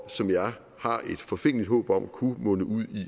som jeg har et forfængeligt håb om kunne munde ud